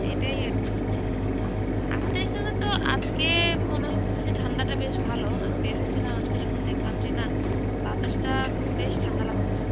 এটাই আরকি. আমাদের এখানে তো আজকে মনে হইতেছে যে ঠান্ডাটা বেশ ভালো, আমি বের হইছিলাম আজকে যখন দেখলাম যে না বাতাসটা বেশ ঠান্ডা লাগতেসে.